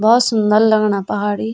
भौत सुंदर लगणा पहाड़ इ ।